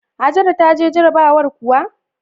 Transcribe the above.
Hajara ta je jarabawar kuwa?